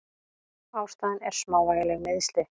Ástæðan er smávægileg meiðsli.